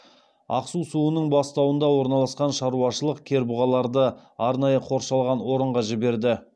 ақсу суының бастауында орналасқан шаруашылық кербұғыларды арнайы қоршалған орынға жіберді